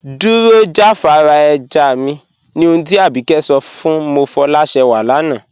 Dúró jàfàrà ẹ̀já mí, ní òhùn tí Ábíkẹ̀ sọ̀ fún Mofọlásẹ́wà lànà.